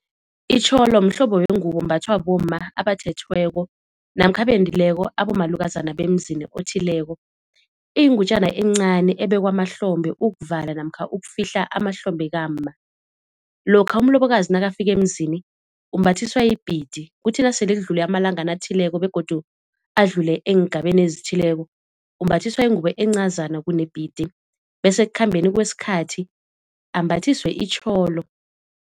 Itjholo mhlobo wengubo ombathwa bomma abathethweko namkha abendileko abomalukazana bemzini othileko. Iyingutjana encani ebekwa mahlombe ukuvala namkha ukufihla amahlombe kamma. Lokha umlobokazi nakafika emzini umbathiswa ibhidi kuthi nasele kudlule amalangana athileko begodu adlule eengabeni ezithileko, umbathiswa ingubo encazana kunebhidi bese ekukhambeni kwesikhathi ambathiswe itjholo.